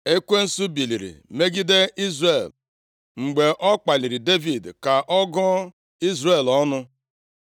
Ekwensu biliri megide Izrel, mgbe ọ kpaliri Devid ka ọ gụọ Izrel ọnụ.